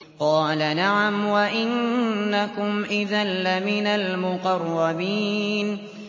قَالَ نَعَمْ وَإِنَّكُمْ إِذًا لَّمِنَ الْمُقَرَّبِينَ